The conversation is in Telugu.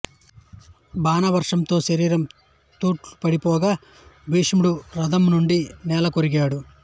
బాణవర్షంతో శరీరం తూట్లు పడిపోగా భీష్ముడు రథం నుండి నేలకొరిగాడు